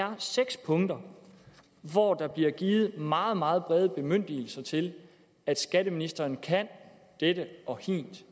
er seks punkter hvor der bliver givet meget meget brede bemyndigelser til at skatteministeren kan dette og hint